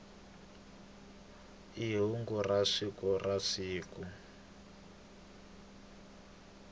i hungu ra siku na siku